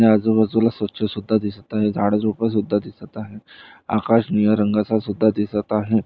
या आजूबाजूला स्वच्छ सुद्धा दिसत आहे झाड झुडपसुद्धा दिसतं आहे आकाश निळा रंगाचासुद्धा दिसत आहे.